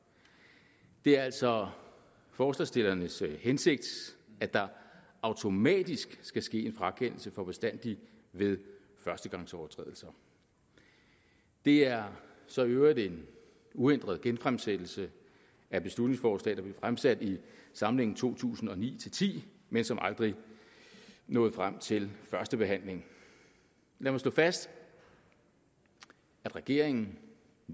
det er altså forslagsstillernes hensigt at der automatisk skal ske en frakendelse for bestandig ved førstegangsovertrædelser det er så i øvrigt en uændret genfremsættelse af et beslutningsforslag der blev fremsat i samlingen to tusind og ni til ti men som aldrig nåede frem til første behandling lad mig slå fast at regeringen